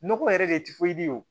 Nɔgɔ yɛrɛ de ti o